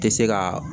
Tɛ se ka